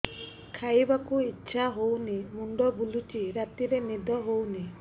ଖାଇବାକୁ ଇଛା ହଉନି ମୁଣ୍ଡ ବୁଲୁଚି ରାତିରେ ନିଦ ହଉନି